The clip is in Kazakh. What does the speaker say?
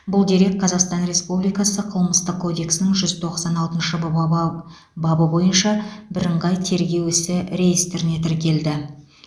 бұл дерек қазақстан республикасы қылмыстық кодексінің жүз тоқсан алтыншы баба бабы бойынша бірыңғай тергеу ісі реестріне тіркелді